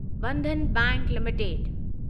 Bandhan bank limited